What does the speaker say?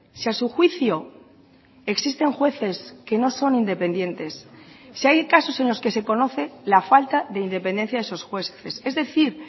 si a su juicio existen jueces que no son independientes si hay casos en los que se conoce la falta de independencia de esos jueces es decir